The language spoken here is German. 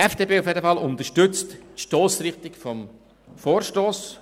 Die FDP unterstützt die Stossrichtung des Vorstosses.